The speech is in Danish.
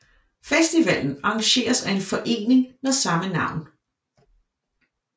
Festivalen arrangeres af en forening med samme navn